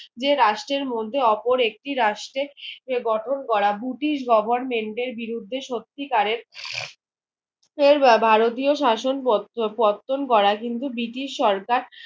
যে রাষ্টের মধ্যে ওপর একটি রাষ্ট্রে গঠন করা দুটি government এর বিরুদ্ধে সত্যি করে এর ভারতীয় শাসন পতন করা কিন্তু ব্রিটিশ সরকার